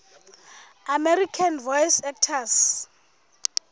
american voice actors